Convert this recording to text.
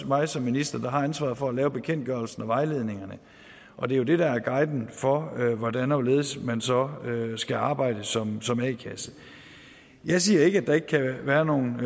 mig som minister der har ansvaret for at lave bekendtgørelsen og vejledningerne og det er jo det der er guiden for hvordan og hvorledes man så skal arbejde som som a kasse jeg siger ikke at der ikke kan være nogen